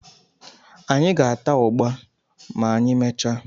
Anyị ga-ata ụgba ma anyị mechaa